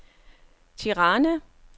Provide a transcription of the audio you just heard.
Tirana